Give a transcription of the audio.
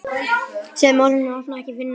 Segðu móður þinni að opna ekki fyrir neinum.